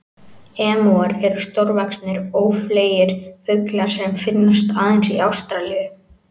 Emúar eru stórvaxnir, ófleygir fuglar sem finnast aðeins í Ástralíu.